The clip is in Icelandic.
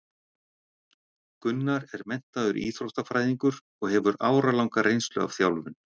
Gunnar er menntaður íþróttafræðingur og hefur áralanga reynslu af þjálfun.